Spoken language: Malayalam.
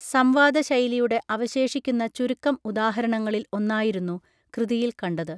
സംവാദ ശൈലിയുടെ അവശേഷിക്കുന്ന ചുരുക്കം ഉദാഹരണങ്ങളിൽ ഒന്നായിരുന്നു കൃതിയിൽ കണ്ടത്